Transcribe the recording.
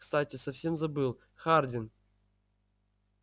кстати совсем забыл хардин